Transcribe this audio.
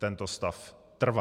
Tento stav trvá.